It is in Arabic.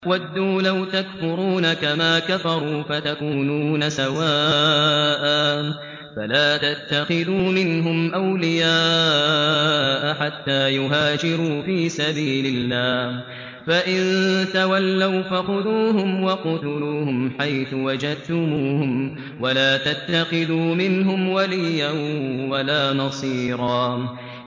وَدُّوا لَوْ تَكْفُرُونَ كَمَا كَفَرُوا فَتَكُونُونَ سَوَاءً ۖ فَلَا تَتَّخِذُوا مِنْهُمْ أَوْلِيَاءَ حَتَّىٰ يُهَاجِرُوا فِي سَبِيلِ اللَّهِ ۚ فَإِن تَوَلَّوْا فَخُذُوهُمْ وَاقْتُلُوهُمْ حَيْثُ وَجَدتُّمُوهُمْ ۖ وَلَا تَتَّخِذُوا مِنْهُمْ وَلِيًّا وَلَا نَصِيرًا